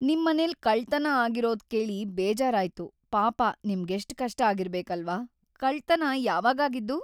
ನಿಮ್ಮನೆಲ್ ಕಳ್ತನ ಆಗಿರೋದ್ಕೇಳಿ ಬೇಜಾರಾಯ್ತು, ಪಾಪ ನಿಮ್ಗೆಷ್ಟ್‌ ಕಷ್ಟ ಆಗಿರ್ಬೇಕಲ್ವಾ.. ಕಳ್ತನ ಯಾವಾಗಾಗಿದ್ದು?